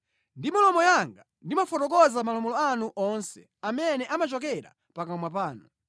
Ndi milomo yanga ndimafotokoza malamulo anu onse amene amachokera pakamwa panu.